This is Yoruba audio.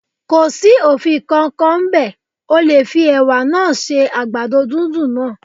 Kò sí òfin kan kan ń bẹ̀, o lè fi Ẹ̀wà náà se àgbàdo dúndùn náà.